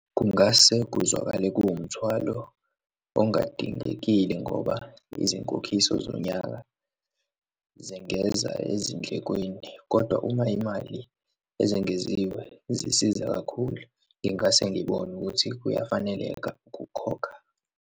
Kungase kuzwakale kuwumthwalo ongadingekile ngoba izinkokhiso zonyaka zengeza ezindlekweni, kodwa uma imali ezengeziwe zisiza kakhulu, ngingase ngibone ukuthi kuyafaneleka ukukhokha.